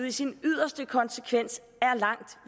i sin yderste konsekvens er langt